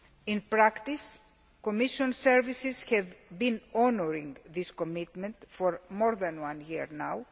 In practice, the Commission services have been honouring this commitment for more than one year now.